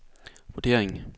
vurdering